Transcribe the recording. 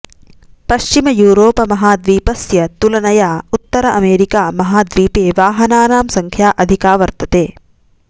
पश्चिमयूरोप महाद्वीपस्य तुलनया उत्तर अमेरिका महाद्वीपे वाहनानां सङ्ख्या अधिका वर्तते